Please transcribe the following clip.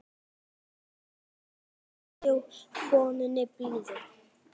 Undir kinn kúrðu konunni blíðu.